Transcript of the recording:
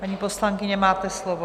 Paní poslankyně, máte slovo.